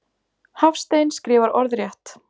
Hafstein skrifar orðrétt.